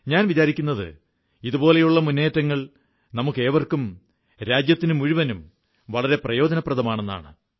ഞാൻ വിചാരിക്കുന്നത് ഇതുപോലെയുള്ള മുന്നേറ്റങ്ങൾ നമുക്കേവർക്കും രാജ്യത്തിനുമുഴുവനും വളരെ പ്രയോജനപ്രദമാണെന്നാണ്